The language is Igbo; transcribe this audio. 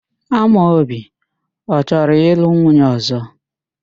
Amobi ọ chọrọ ịlụ nwunye ọ̀zọ́?